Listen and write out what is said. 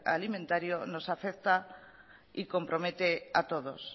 alimentario nos afecta y compromete a todos